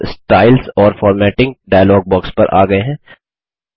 हम वापस स्टाइल्स और फॉर्मेटिंग डायलॉग बॉक्स पर आ गये हैं